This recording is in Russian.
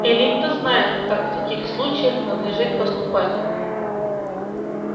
эллин то знает как в таких случаях надлежит поступать